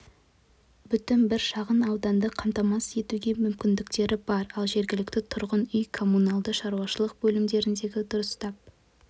бүтін бір шағын ауданды қамтамасыз етуге мүмкіндіктері бар ал жергілікті тұрғын үй-коммуналды шаруашылық бөліміндегілер дұрыстап